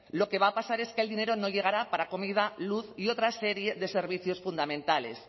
lo que va a pasar es que el dinero no llegará para comida luz y otra serie de servicios fundamentales